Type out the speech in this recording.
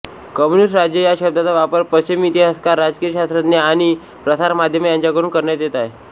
communist राज्य या शब्दाचा वापर पश्चिमी इतिहासकार राजकीय शास्त्रज्ञ आणि प्रसारमाध्यमे यांच्याकडून करण्यात येत आहे